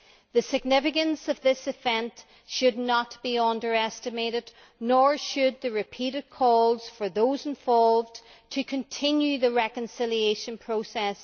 The significance of this event should not be underestimated, nor should the repeated calls for those involved to continue the reconciliation process.